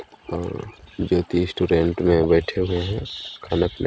अअअ ज्योति रेस्टोरेंट में बैठे हुए है खाना पीना --